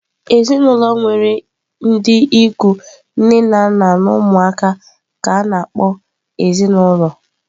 Ezinụlọ nwere ndị ikwu nne na nna na ụmụ ka a na-akpọ ezinaụlọ.